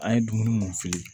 An ye dumuni mun fili